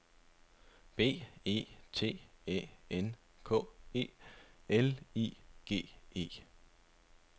B E T Æ N K E L I G E